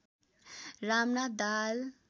Ramnath Dahal